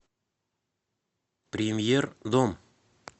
премьер дом